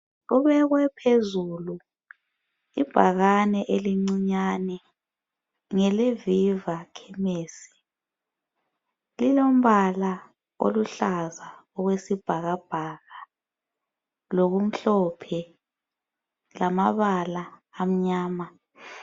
Kubekwe phezulu ibhakane elincinyane ngele Viva khemesi lilombala oluhlaza okwesibhakabhaka lokumhlophe lamabala amnyama.